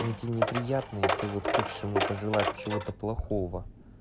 они тебе неприятны и ты вот хочешь ему пожелать чего-то плохого